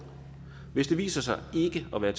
hvis det viser sig ikke at være